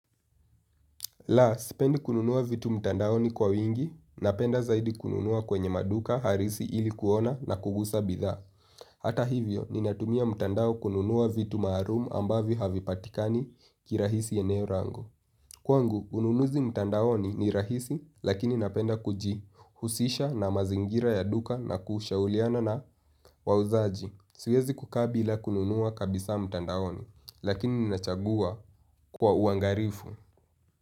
La, sipendi kununua vitu mtandaoni kwa wingi, napenda zaidi kununua kwenye maduka harisi ili kuona na kugusa bidhaa. Hata hivyo, ninatumia mtandao kununua vitu maharumu ambavyo havipatikani kirahisi eneo rangu. Kwangu, ununuzi mtandaoni ni rahisi, lakini napenda kuji husisha na mazingira ya duka na kushauliana na wauzaji. Siwezi kukaa bila kununua kabisaa mtandaoni, lakini ninachagua kwa uangarifu.